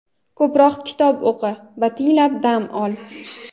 ko‘proq kitob o‘qi va tiniqib dam ol.